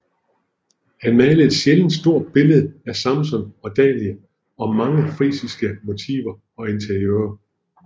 Han malede et sjældent stort billede af Samson og Dalila og mange frisiske motiver og interiører